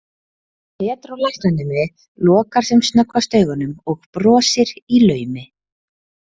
Pedro læknanemi lokar sem snöggvast augunum og brosir í laumi.